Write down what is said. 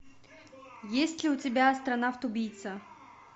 есть ли у тебя астронавт убийца